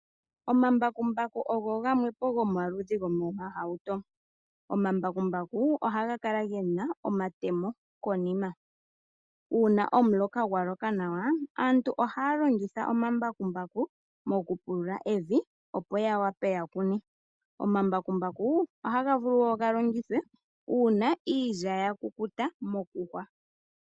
Omambakumbaku ogeli moludhi lwoohauto. Ohaga kala ge na omatemo konima, uuna ku na omuloka nawa aantu ohaya longitha omambakumbaku okupulula evi ya kune. Ohaga longithwa wo okuyungula iilya ngele ya kukuta.